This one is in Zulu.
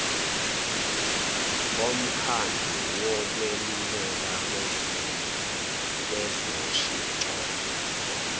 bomkhandlu wokweluleka kwezoshintsho